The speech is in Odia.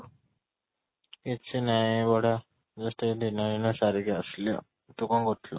କିଛି ନାଇଁ just ଏବେ dinner ଏଇନା ସାରିକି ଆସିଲି ଆଉ, ତୁ କ'ଣ କରୁ ଥିଲୁ?